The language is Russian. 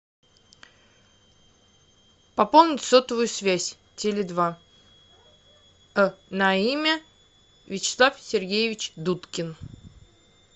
пополнить сотовую связь теле два на имя вячеслав сергеевич дудкин